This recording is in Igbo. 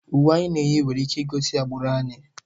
Uwe anyị na-eyi nwere ike igosi agbụrụ anyị.